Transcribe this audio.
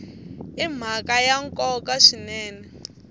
i mhaka ya nkoka swinene